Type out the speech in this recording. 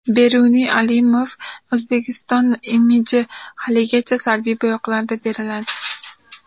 Beruniy Alimov: O‘zbekiston imiji haligacha salbiy bo‘yoqlarda beriladi.